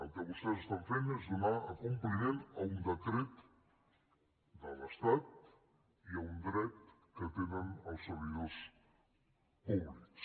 el que vostès estan fent és donar compliment a un decret de l’estat i a un dret que tenen els servidors públics